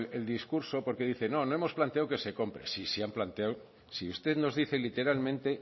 el discurso porque dice no no hemos planteado que se compra sí sí han planteado si usted nos dice literalmente